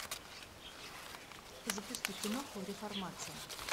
запусти киноху реформация